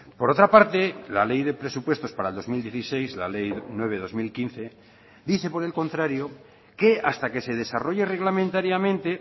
por otra parte la ley de presupuestos para el dos mil dieciséis la ley nueve barra dos mil quince dice por el contrario que hasta que se desarrolle reglamentariamente